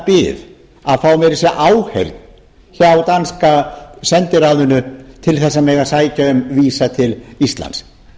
bið að fá meira að segja áheyrn hjá danska sendiráðinu til þess að mega sækja um vísa til íslands